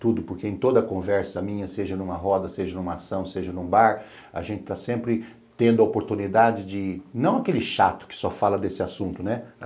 Tudo, porque em toda conversa minha, seja numa roda, seja numa ação, seja num bar, a gente está sempre tendo a oportunidade de... não aquele chato que só fala desse assunto, né?